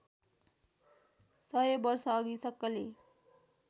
सय वर्षअघि सक्कली